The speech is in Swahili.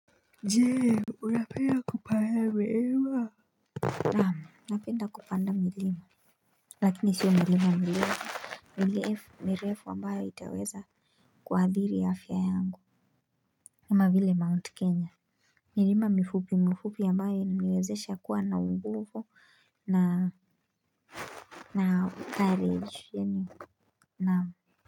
Jee, unapenda kupaa we hewa. Naam, napenda kupanda milima. Lakini sio milima mirefu. Mirefu, mirefu ambayo itaweza. Kuhadhiri afya yangu. Kama vile mount Kenya. Milima mifupi, mifupi ambayo, nimewezesha kuwa na nguvu na. Na courage, yaani, naam.